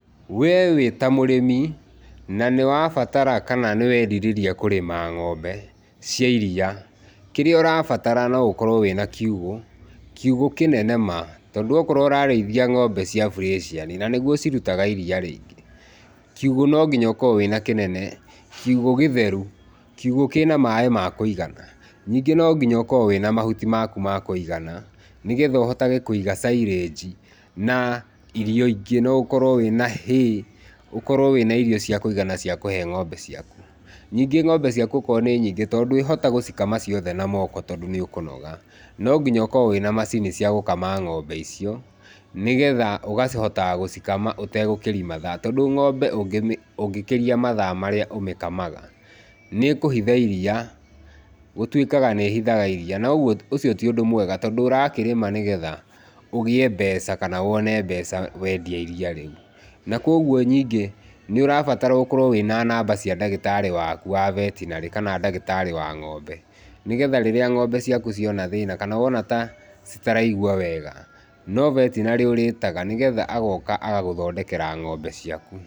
We wĩta mũrĩmi na nĩ wabatara kana nĩ werirĩria kũrĩma ng'ombe cia iria, kĩrĩa ũrabatara no gũkorwo wĩna kiugũ, kiugũ kĩnene ma tondũ akorwo ũrarĩithia ng'ombe cia bureciani, na nĩguo cirutaga iria rĩingĩ, kiugũ no nginya ũkorwo wĩna kĩnene, kiugũ gĩtheru, kiugũ kĩna maĩ makũigana. Ningĩ no nginya ũkorwo wĩna mahuti maku makũigana nĩgetha ũhotage kũiga cairanji na irio ingĩ, no ũkorwo wĩna hay, ũkorwo wĩna irio cia kũiga na cia kũhe ng'ombe ciaku. Ningĩ ng'ombe ciaku okorwo nĩ nyingĩ, tondũ ndwĩhota gũcikama ciothe na moko tondũ nĩ ũkũnoga, no nginya ũkorwo wĩna macini cia gũkama ng'ombe icio nĩgetha ũkahotaga gũcikama ũtegũkĩria mathaa. Tondũ ng'ombe ũngĩkĩria mathaa marĩa ũmĩkamaga, nĩĩkũhitha iriia, gũtwĩkaga nĩcihithaga irĩĩa na ũcio ti ũndũ mwega tondũ ũrakĩrĩma nĩ getha ũgĩe mbeca kana wone mbeca wendia iriia rĩu na kũoguo ningĩ nĩ ũrabatara ũkorwo wĩna namba cia ndagĩtarĩ waku wa betinarĩ kana ndagĩtarĩ wa ng'ombe, nĩgetha rĩrĩa ng'ombe ciaku ciona thĩna kana wona ta citaraigwa wega, no vetinarĩ ũrĩtaga nĩgetha agoka agagũthondekera ng'ombe ciaku.